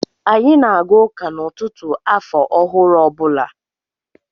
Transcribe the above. Anyị na aga ụka n'ụtụtụ afọ ọhụrụ ọ bụla.